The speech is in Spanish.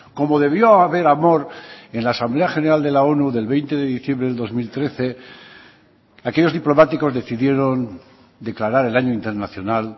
como debió haber amor en la asamblea general de la onu del veinte de diciembre del dos mil trece aquellos diplomáticos decidieron declarar el año internacional